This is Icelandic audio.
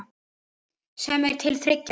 sem er til þriggja ára.